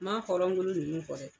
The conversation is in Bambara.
Maa hɔrɔnkolo nunnu fɔ dɛ.